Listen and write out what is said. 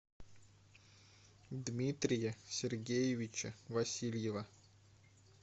дмитрия сергеевича васильева